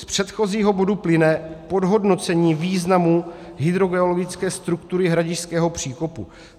Z předchozího bodu plyne podhodnocení významu hydrogeologické struktury Hradišťského příkopu.